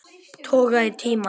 Toga í tímann.